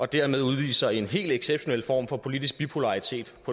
dermed udviser en helt exceptionel form for politisk bipolaritet